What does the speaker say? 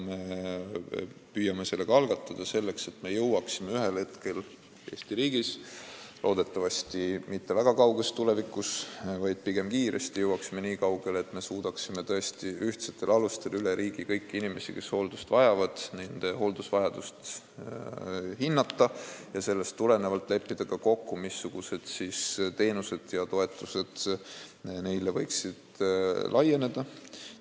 Me püüame seda teha selleks, et me jõuaksime Eesti riigis ühel hetkel, loodetavasti mitte väga kauges tulevikus, vaid pigem kiiresti, nii kaugele, et me suudaksime tõesti ühtsetel alustel hinnata üle riigi kõiki inimeste, kes hooldust vajavad, hooldusvajadust ja sellest tulenevalt leppida ka kokku, missuguseid teenuseid ja toetusi nad võiksid saada.